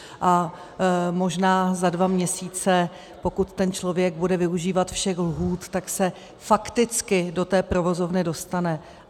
A možná za dva měsíce, pokud ten člověk bude využívat všech lhůt, tak se fakticky do té provozovny dostane.